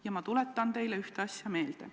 Ja ma tuletan teile ühte asja meelde.